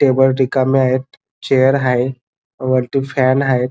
Table रिकामे आहेत chair आहे वरती फॅन आहेत.